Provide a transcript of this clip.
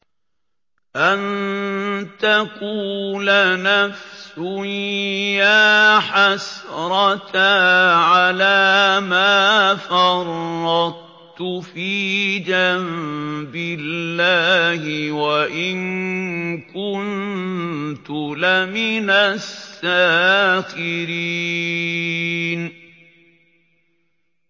أَن تَقُولَ نَفْسٌ يَا حَسْرَتَا عَلَىٰ مَا فَرَّطتُ فِي جَنبِ اللَّهِ وَإِن كُنتُ لَمِنَ السَّاخِرِينَ